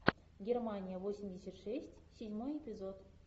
германия восемьдесят шесть седьмой эпизод